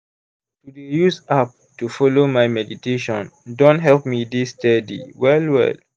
to dey use app to follow my meditation don help me dey steady well well.